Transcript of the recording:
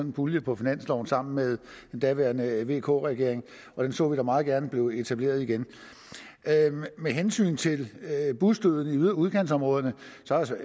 en pulje på finansloven sammen med den daværende vk regering og den så vi da meget gerne blive etableret igen med hensyn til busdøden i udkantsområderne